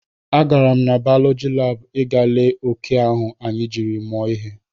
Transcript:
A gara m baulọji lab ị gaa lee oke ahụ anyị jiri mụọ ihe